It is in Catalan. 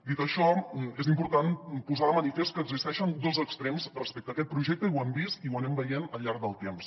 dit això és important posar de manifest que existeixen dos extrems respecte a aquest projecte i ho hem vist i ho anem veient al llarg del temps